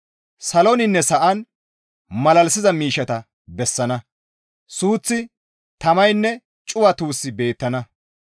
Saloninne sa7an malalisiza miishshata ta bessana; suuththi, tamaynne cuwa tuussi beettana.